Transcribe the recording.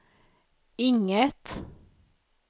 inget